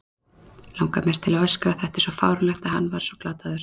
Langar mest til að öskra, þetta er svo fáránlegt og hann svo glataður.